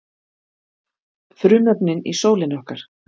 frumefnin í sólinni okkar